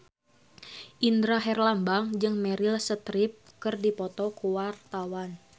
Indra Herlambang jeung Meryl Streep keur dipoto ku wartawan